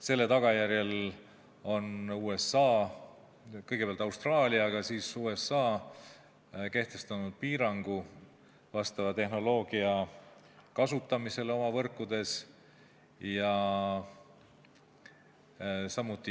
Selle tagajärjel on USA, kõigepealt Austraalia, aga siis ka USA kehtestanud piirangu vastava tehnoloogia kasutamisele oma võrkudes.